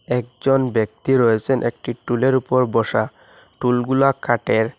একজন ব্যক্তি রয়েছেন একটি টুলের উপর বসা টুলগুলা কাঠের।